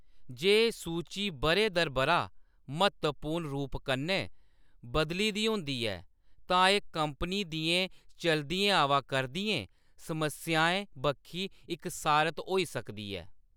जे सूची बʼरे दर बʼरा म्हत्तवपूर्ण रूप कन्नै बदली दी होंदी ऐ, तां एह्‌‌ कंपनी दियें चलदियें आवा करदियें समस्याएं बक्खी इक सारत होई सकदी ऐ।